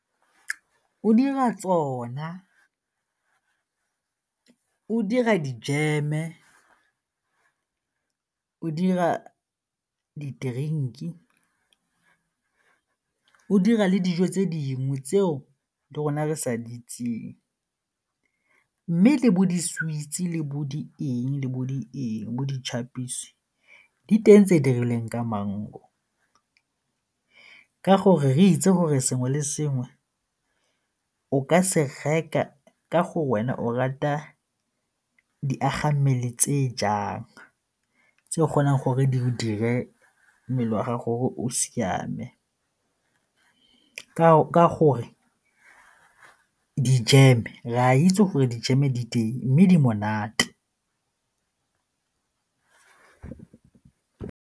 O dira tsona, o dira dijeme, o dira di-drink-e, o dira le dijo tse dingwe tseo le rona re sa di itseng mme le bo di-sweets le bo di eng le bo di eng bo di-chappies diteng tse di rileng ka mango ka gore re itse gore sengwe le sengwe o ka se reka ka go wena o rata diagammele tse jang tse o kgonang gore di diriwe wa gago o siame ka gore dijeme, re a itse gore dijeme di teng mme di monate.